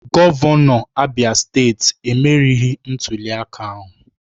Gọvanọ Abia steeti emerieghị ntuliaka ahụ